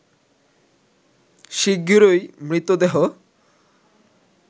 শিগগিরই মৃতদেহ